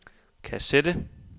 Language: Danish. kassette